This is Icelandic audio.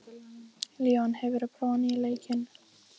Leon, hefur þú prófað nýja leikinn?